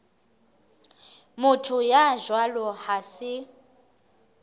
motho ya jwalo ha se